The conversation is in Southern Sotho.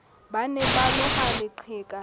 ba ne ba loha leqheka